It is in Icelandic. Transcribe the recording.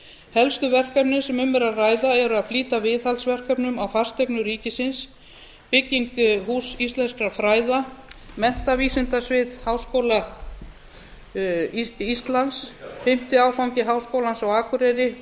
helstu verkefnin sem um er að ræða eru að flýta viðhaldsverkefnum á fasteignum ríkisins bygging húss íslenskra fræða menntavísindasvið háskóla íslands fimmti áfangi háskólans á akureyri